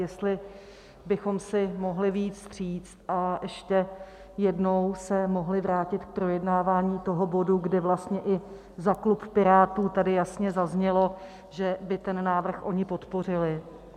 Jestli bychom si mohli vyjít vstříc a ještě jednou se mohli vrátit k projednávání toho bodu, kde vlastně i za klub Pirátů tady jasně zaznělo, že by ten návrh oni podpořili.